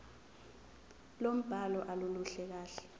lombhalo aluluhle kahle